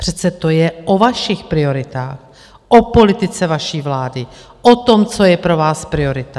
Přece to je o vašich prioritách, o politice vaší vlády, o tom, co je pro vás priorita.